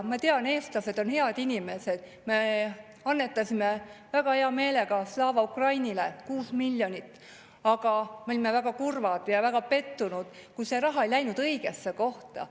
Ma tean, eestlased on head inimesed, me annetasime väga hea meelega Slava Ukrainile 6 miljonit ja olime väga kurvad ja väga pettunud, kui see raha ei läinud õigesse kohta.